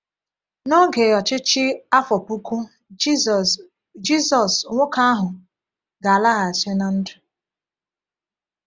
N’oge Ọchịchị Afọ Puku Jisus, Jisus, nwoke ahụ ga-alaghachi ná ndụ.